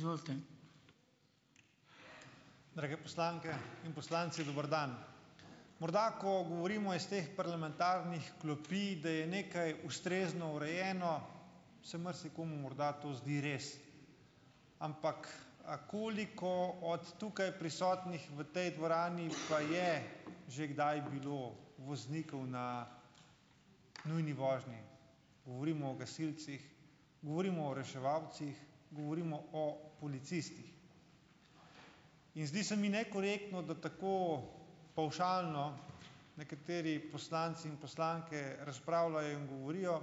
Izvolite. Drage poslanke in poslanci, dober dan. Morda, ko govorimo iz teh parlamentarnih klopi, da je nekaj ustrezno urejeno, se marsikomu morda to zdi res. Ampak, a koliko od tukaj prisotnih v tej dvorani pa je že kdaj bilo voznikov na nujni vožnji. Govorimo o gasilcih, govorimo o reševalcih, govorimo o policistih. In zdi se mi nekorektno, da tako pavšalno nekateri poslanci in poslanke razpravljajo in govorijo,